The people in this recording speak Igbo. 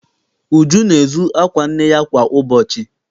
Uju na-ezu akwa nne ya kwa ụbọchị.